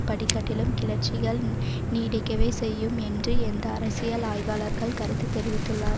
படிக்கட்டிலும் கிளர்ச்சிகள் நீடிக்கவே செய்யும் என்று அந்த அரசியல் ஆய்வாளர்கள் கருத்து தெரிவித்துள்ளார்